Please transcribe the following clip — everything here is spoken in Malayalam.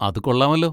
അത് കൊള്ളാമല്ലോ.